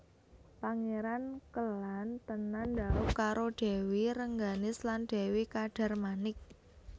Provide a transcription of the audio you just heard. Pangéran Kélan tenan dhaup karo Dèwi Rengganis lan Dèwi Kadarmanik